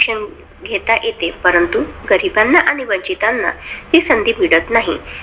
शिक्षण घेता येते, परंतु गरिबांना वंचितांना हि संधी मिळत नाही येत नाही.